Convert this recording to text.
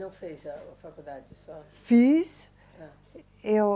Não fez a, a faculdade só? Fiz. Eu.